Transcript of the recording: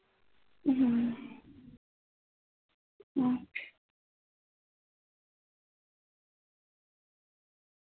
ਹੱਮ okay